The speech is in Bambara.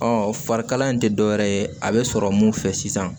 farikala in tɛ dɔwɛrɛ ye a bɛ sɔrɔ mun fɛ sisan